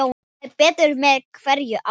Æ betur með hverju ári.